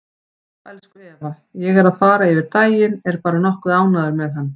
Já, elsku Eva, ég er að fara yfir daginn, er bara nokkuð ánægður með hann.